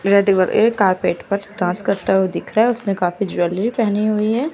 एक कार्पेट पर डांस करता हुआ दिख रहा है उसने काफी ज्वेलरी पेहनी हुई है।